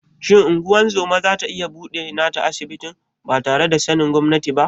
Shin ungozoma zata iya buɗe nata asibitin batare da sanin gwamnati ba?